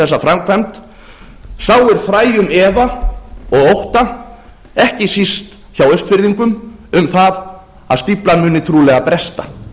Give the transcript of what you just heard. þessa framkvæmd sáir fræjum efa og ótta ekki síst hjá austfirðingum um það að stíflan muni trúlega bresta